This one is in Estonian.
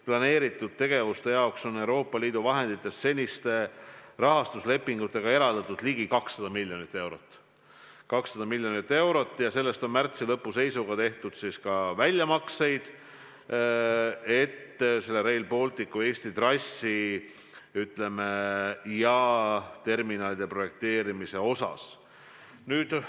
Planeeritud tegevuste jaoks on Euroopa Liidu vahenditest seniste rahastuslepingutega eraldatud ligi 200 miljonit eurot ja sellest on märtsi lõpu seisuga tehtud ka väljamakseid Rail Balticu Eesti trassi ja terminalide projekteerimiseks.